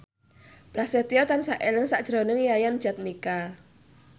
Prasetyo tansah eling sakjroning Yayan Jatnika